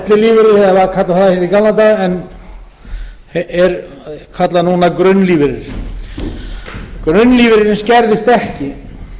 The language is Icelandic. eða var kallað það í gamla daga en er kallað núna grunnlífeyrir grunnlífeyririnn skerðist ekki